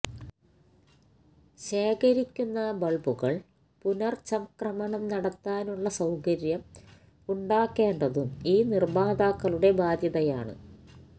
ശേഖരിക്കുന്ന ബള്ബുകള് പുനര്ചംക്രമണം നടത്താനുള്ള സൌകര്യം ഉണ്ടാക്കേണ്ടതും ഈ നിര്മാതാക്കളുടെ ബാധ്യതയാണ്